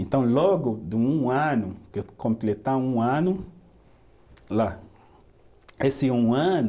Então logo de um ano, de eu completar um ano lá, esse um ano